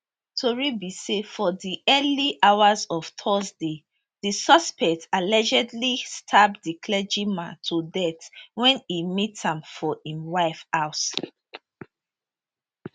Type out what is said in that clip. tori be say for di early hours of thursday di suspect allegedly stab di clergyman to death wen e meet am for im wife house